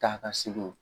Taa ka segin